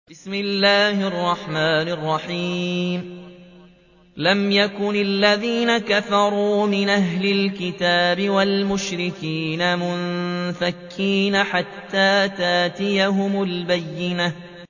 لَمْ يَكُنِ الَّذِينَ كَفَرُوا مِنْ أَهْلِ الْكِتَابِ وَالْمُشْرِكِينَ مُنفَكِّينَ حَتَّىٰ تَأْتِيَهُمُ الْبَيِّنَةُ